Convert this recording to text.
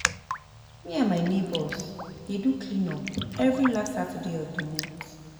Me and my neighbours dey do clean up every last Saturday of the month